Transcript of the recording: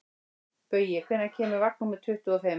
Baui, hvenær kemur vagn númer tuttugu og fimm?